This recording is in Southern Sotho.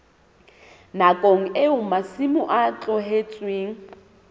nakong eo masimo a tlohetsweng